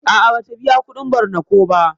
A'a bata biƴa kudin barna ko ba.